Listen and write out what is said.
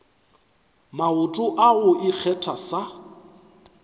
maoto a go ikgetha sa